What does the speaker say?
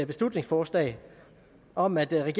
beslutningsforslag om at